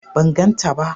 ban ganta ba